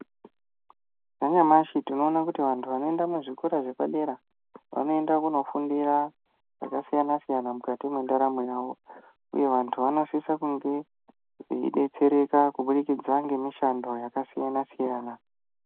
Zvanyamashi tinoona kuti vantu vanoenda muzvikora zvepadera vanoenda kunofundira zvakasiyana -siyana mukati mwendaramo yawo, uye vantu vanosisa kunge veidetsereka kubudikidza ngemishando yakasiyana-siyana.